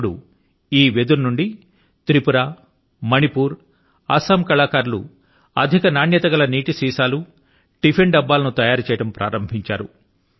ఇప్పుడు ఈ వెదురు నుండి త్రిపుర మణిపుర్ అసమ్ ల కళాకారులు అధిక నాణ్యత కలిగినటువంటి నీటి సీసాల ను టిఫిన్ డబ్బాల ను తయారు చేయడం మొదలుపెట్టారు